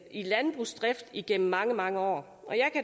i landbrugsdrift igennem mange mange år og